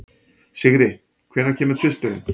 Sigri, hvenær kemur tvisturinn?